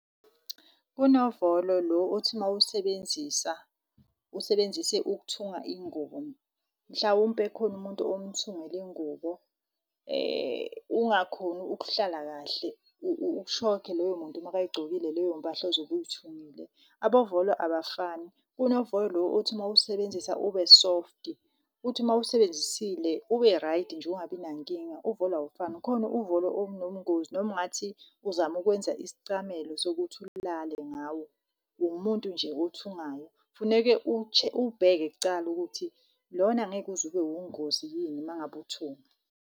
Kunovolo lo othi mawusebenzisa, usebenzise ukuthunga ingubo. Mhlawumpe khona umuntu omthungele ingubo, ungakhoni ukuhlala kahle usokhe loyo muntu maka yigcokile leyo mpahla ozobuyithungile. Abavolo abafani, kunovolo lo othi mawusebenzisa ube soft, uthi mawusebenzisile ube-right nje ungabi nankinga. Uvolo awufani, khona uvolo obunobungozi, noma ungathi uzama ukwenza isicamelo sokuthi ulale ngawo. Umuntu nje othungayo funeke uwubheke kucala ukuthi lona ngeke uze ube ungozi yini uma ngabe uthunga.